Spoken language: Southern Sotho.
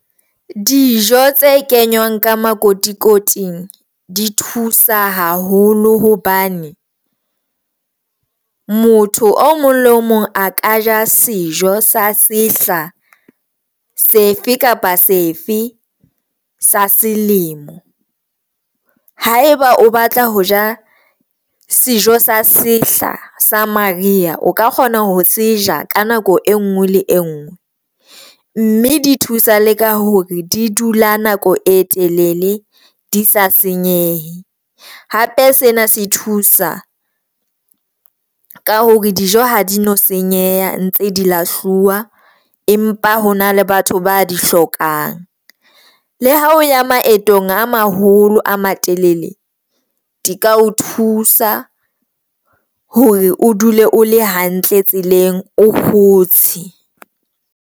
Dijo tse kenywang ka makotikoting di thusa haholo hobane motho o mong le mong a ka ja sejo sa sehla sefe kapa sefe sa selemo haeba o batla ho ja sejo sa sehla sa maria, o ka kgona ho seja ka nako e nngwe le e nngwe mme di thusa le ka hore di dula nako e telele di sa senyehe, hape sena se thusa ka hore dijo ha di no senyeha ntse di lahluwa empa ho na le batho ba di hlokang. Le ha o ya maetong a maholo a matelele, di ka o thusa hore o dule o le hantle tseleng o kgotse.